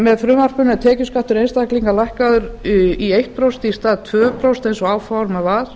með frumvarpinu er tekjuskattur einstaklinga lækkaður í einu prósenti í stað tveggja prósenta eins og áformað var